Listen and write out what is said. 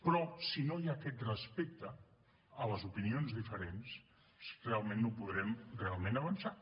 però si no hi ha aquest respecte a les opinions diferents realment no podrem realment avançar